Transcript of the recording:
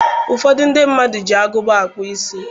Ụfọdụ ndị mmadụ na-eji agụba na-akpụ isi.